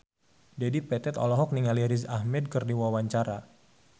Dedi Petet olohok ningali Riz Ahmed keur diwawancara